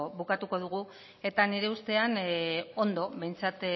bukatuko dugu eta nire ustean ondo behintzat